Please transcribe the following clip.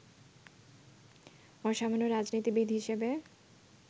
অসামান্য রাজনীতিবিদ হিসেবে